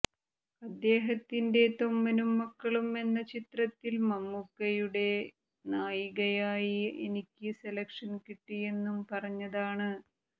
അദ്ദേഹത്തിന്റെ തൊമ്മനും മക്കളും എന്ന ചിത്രത്തിൽ മമ്മൂക്കയുടെ നായികയായി എനിക്ക് സെലക്ഷൻ കിട്ടിയെന്നും പറഞ്ഞതാണ്